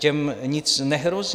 Těm nic nehrozí.